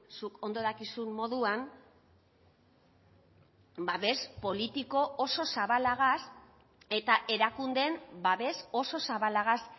zuk ondo dakizun moduan babes politiko oso zabalagaz eta erakundeen babes oso zabalagaz